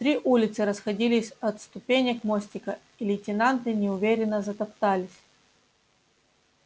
три улицы расходились от ступенек мостика и лейтенанты неуверенно затоптались